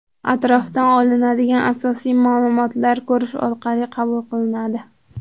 Atrofdan olinadigan asosiy ma’lumotlar ko‘rish orqali qabul qilinadi.